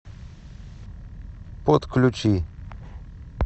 подключи